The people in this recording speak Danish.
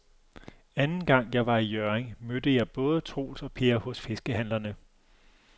Anden gang jeg var i Hjørring, mødte jeg både Troels og Per hos fiskehandlerne.